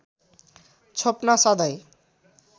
छोप्न सधैँ